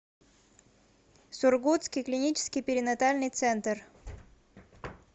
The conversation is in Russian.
сургутский клинический перинатальный центр